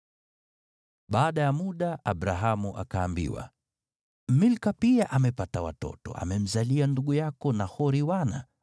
Baada ya muda, Abrahamu akaambiwa, “Milka pia amepata watoto, amemzalia ndugu yako Nahori wana: